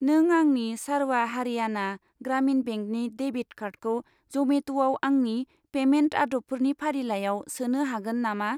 नों आंनि सारवा हारियाना ग्रामिन बेंकनि डेबिट कार्डखौ जमेट'आव आंनि पेमेन्ट आदबफोरनि फारिलाइयाव सोनो हागोन नामा?